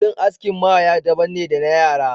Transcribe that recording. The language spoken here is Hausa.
Kudin askin maya daban ne da na yara.